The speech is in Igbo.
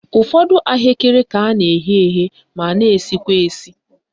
Ụfọdụ ahụekere ka a na-eghe eghe ma na-esikwa esi